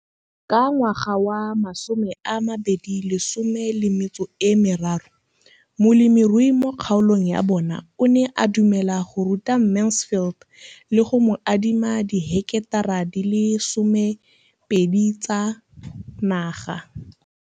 Ka ngwaga wa 2013, molemirui mo kgaolong ya bona o ne a dumela go ruta Mansfield le go mo adima di heketara di le 12 tsa naga.